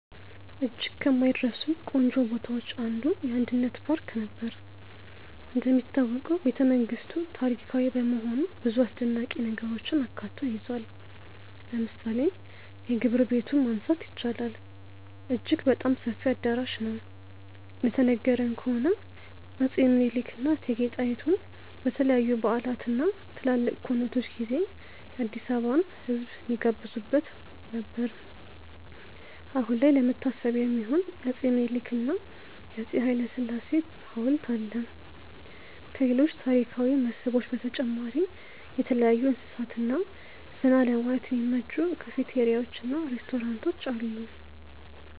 እጅግ ከማይረሱኝ ቆንጆ ቦታዎች አንዱ: የአንድነት ፓርክ ነበር። እንደሚታወቀው ቤተመንግስቱ ታሪካዊ በመሆኑ ብዙ አስደናቂ ነገሮችን አካቶ ይዟል። ለምሳሌ የግብር ቤቱን ማንሳት ይቻላል፦ አጅግ በጣም ሰፊ አዳራሽ ነው፤ እንደተነገረን ከሆነ አፄ ምኒልክ እና እቴጌ ጣይቱ በተለያዩ በዓላት እና ትላልቅ ኩነቶች ጊዜ የአዲስአበባን ህዝብ የሚጋብዙበት ነበር። አሁን ላይ ለመታሰቢያ የሚሆን የአፄ ምኒልክ እና የአፄ ሀይለስላሴ ሀውልት አለ። ከሌሎች ታሪካዊ መስህቦች በተጨማሪ የተለያዩ እንስሳት እና ዘና ለማለት የሚመቹ ካፍቴሪያዎች እና ሬስቶራንቶች አሉ።